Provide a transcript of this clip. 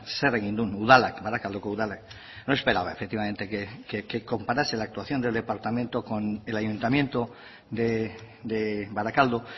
zer egin duen udalak barakaldoko udalak no esperaba efectivamente que comparase la actuación del departamento con el ayuntamiento de barakaldo